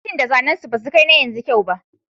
Motocin da zannen su basu kai na yanzu kyau ba